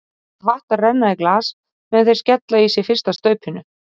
Læt vatn renna í glas meðan þeir skella í sig fyrsta staupinu.